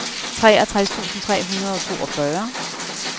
treogtres tusind tre hundrede og toogfyrre